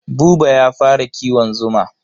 Buba ya fara kiwon zuma.